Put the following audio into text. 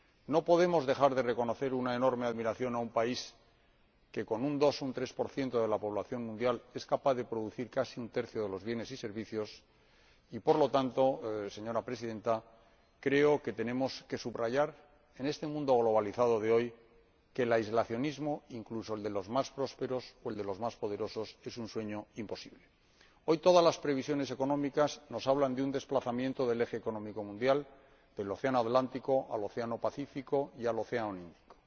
No podemos dejar de reconocer una enorme admiración por un país que con un 2 o 3 de la población mundial es capaz de producir casi un tercio de los bienes y servicios mundiales, y, por lo tanto, señora Presidenta, creo que tenemos que subrayar, en este mundo globalizado de hoy, que el aislacionismo, incluso el de los más prósperos o el de los más poderosos, es un sueño imposible. Hoy todas las previsiones económicas nos hablan de un desplazamiento del eje económico mundial del océano Atlántico al océano Pacífico y al océano Índico